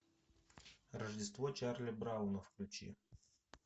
рождество чарли брауна включи